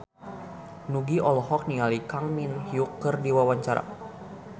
Nugie olohok ningali Kang Min Hyuk keur diwawancara